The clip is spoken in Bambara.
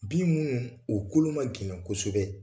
Bin minnu, o kolo ma gɛlɛ kosɛbɛ